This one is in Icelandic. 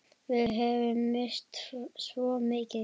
Við höfum misst svo mikið.